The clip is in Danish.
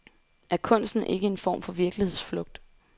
Er kunsten ikke en form for virkelighedsflugt?